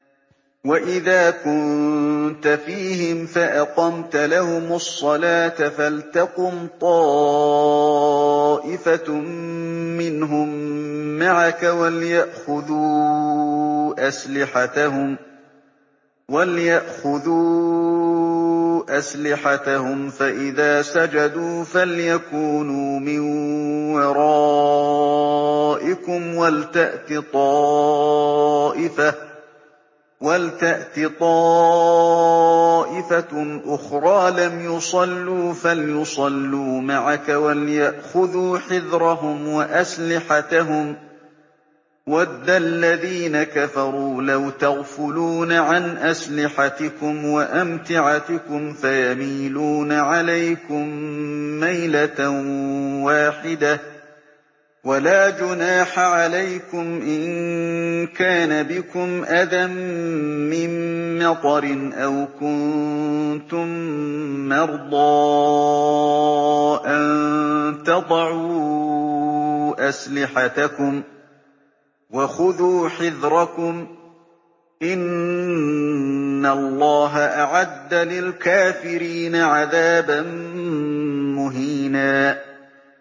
وَإِذَا كُنتَ فِيهِمْ فَأَقَمْتَ لَهُمُ الصَّلَاةَ فَلْتَقُمْ طَائِفَةٌ مِّنْهُم مَّعَكَ وَلْيَأْخُذُوا أَسْلِحَتَهُمْ فَإِذَا سَجَدُوا فَلْيَكُونُوا مِن وَرَائِكُمْ وَلْتَأْتِ طَائِفَةٌ أُخْرَىٰ لَمْ يُصَلُّوا فَلْيُصَلُّوا مَعَكَ وَلْيَأْخُذُوا حِذْرَهُمْ وَأَسْلِحَتَهُمْ ۗ وَدَّ الَّذِينَ كَفَرُوا لَوْ تَغْفُلُونَ عَنْ أَسْلِحَتِكُمْ وَأَمْتِعَتِكُمْ فَيَمِيلُونَ عَلَيْكُم مَّيْلَةً وَاحِدَةً ۚ وَلَا جُنَاحَ عَلَيْكُمْ إِن كَانَ بِكُمْ أَذًى مِّن مَّطَرٍ أَوْ كُنتُم مَّرْضَىٰ أَن تَضَعُوا أَسْلِحَتَكُمْ ۖ وَخُذُوا حِذْرَكُمْ ۗ إِنَّ اللَّهَ أَعَدَّ لِلْكَافِرِينَ عَذَابًا مُّهِينًا